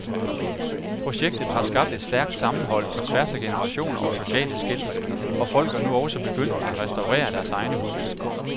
Projektet har skabt et stærkt sammenhold på tværs af generationer og sociale skel, og folk er nu også begyndt at restaurere deres egne huse.